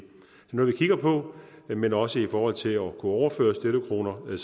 noget vi kigger på men også i forhold til at kunne overføre støttekroner er